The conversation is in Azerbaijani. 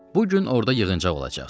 Bu gün orda yığıncaq olacaq.